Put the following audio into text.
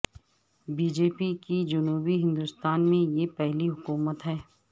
be J P کی جنوبی ہندوستان میں یہ پہلی حکومت ہے